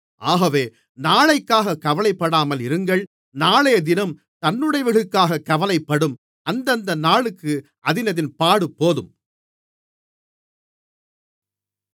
ஆகவே நாளைக்காகக் கவலைப்படாமல் இருங்கள் நாளையதினம் தன்னுடையவைகளுக்காகக் கவலைப்படும் அந்தந்த நாளுக்கு அதினதின் பாடுபோதும்